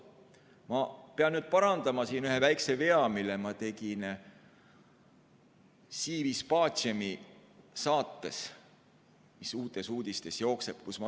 Ma pean nüüd parandama ühe väikse vea, mille ma tegin saates "Si vis pacem", mis Uutes Uudistes jookseb.